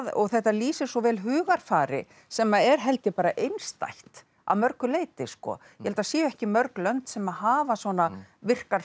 og þetta lýsir svo vel hugarfari sem er held ég bara einstætt að mörgu leyti ég held að það séu ekki mörg lönd sem hafa svona virkar